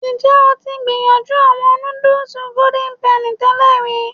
Njẹ o ti gbiyanju awọn nudus Golden Penny tẹlẹ ri?